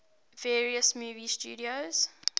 various movie studios